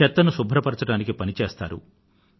చెత్తను శుభ్రపరచటానికి పనిచేస్తారు